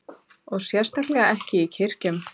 Og sérstaklega ekki í kirkjum.